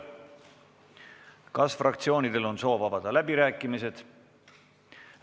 Kas fraktsioonidel on soovi avada läbirääkimised?